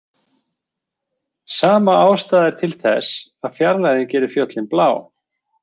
Sama ástæða er til þess að fjarlægðin gerir fjöllin blá.